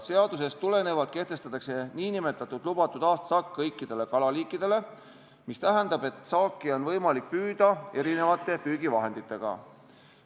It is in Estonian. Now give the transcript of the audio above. Seadusest tulenevalt kehtestatakse nn lubatud aastasaak kõikidele kalaliikidele, mis tähendab, et saaki on võimalik püüda erinevate püügivahenditega.